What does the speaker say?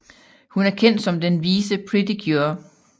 Hun er kendt som den vise Pretty Cure